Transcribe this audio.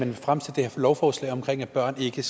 vil fremsætte det her lovforslag om at børn ikke